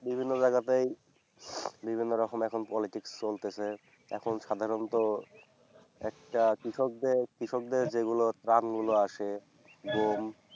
বিভিন্ন জায়গাতেই বিভিন্ন রকম এখন politics চলতেসে। এখন সাধারণত একটা কৃষকদের, কৃষকদের যেগুলো ত্রাণগুলো আসে